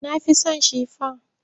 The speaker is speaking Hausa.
Na fi so shifon.